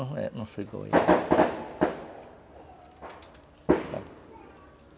E eu não sou igual a ele